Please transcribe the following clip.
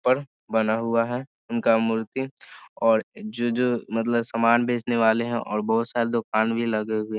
ऊपर बना हुआ है उनका मूर्ति और जो-जो मतलब सामान बेचने वाले हैं और बहुत सारे दुकान भी लगे हुए हैं।